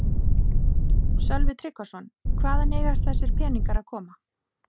Sölvi Tryggvason: Hvaðan eiga þessir peningar að koma?